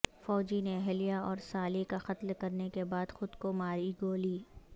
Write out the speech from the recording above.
فوجی نے اہلیہ اور سالی کا قتل کر نے کے بعد خود کو ماری گولی